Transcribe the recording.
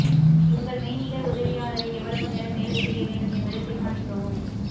உங்கள் மெய்நிகர் உதவியாளரை எவ்வளவு நேரம் வேலை செய்ய வேண்டும் என்பதைத் தீர்மானிக்கவும்